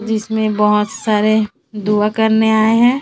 जिसमें बहोत सारे दुआ करने आए हैं।